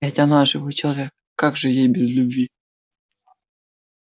но ведь она живой человек как же ей без любви